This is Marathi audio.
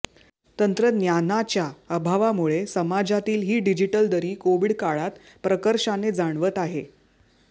तंत्रज्ञानाच्या अभावामुळे समाजातील ही डिजीटल दरी कोविड काळात प्रकर्षाने जाणवत आहे